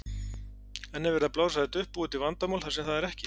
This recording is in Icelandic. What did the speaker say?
En er verið að blása þetta upp, búa til vandamál þar sem það er ekki?